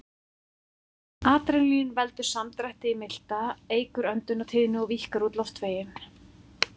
Adrenalín veldur samdrætti í milta, eykur öndunartíðni og víkkar út loftveginn.